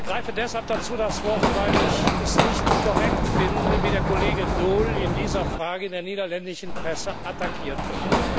Ich ergreife deshalb dazu das Wort, weil ich es nicht korrekt finde, wie der Kollege Daul in dieser Frage in der niederländischen Presse attackiert wird.